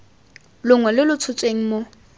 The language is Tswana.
longwe lo lo tshotsweng mo